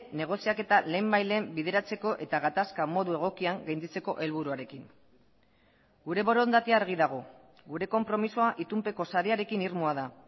negoziaketa lehenbailehen bideratzeko eta gatazka modu egokian gainditzeko helburuarekin gure borondatea argi dago gure konpromisoa itunpeko sarearekin irmoa da